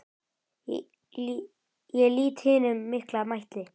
Ég lýt hinum mikla mætti.